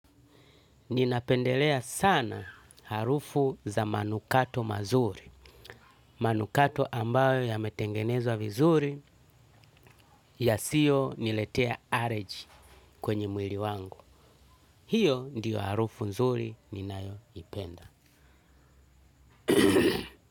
Ninapendelea sana harufu za manukato mazuri, manukato ambayo yametengenezwa vizuri yasiyo niletea alergy kwenye mwili wangu. Hiyo ndiyo harufu nzuri ninayo ipenda.